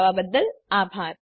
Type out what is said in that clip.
જોડાવા બદ્દલ આભાર